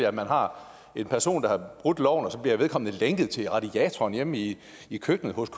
at man har en person der har brudt loven og så bliver vedkommende lænket til radiatoren hjemme i i køkkenet hos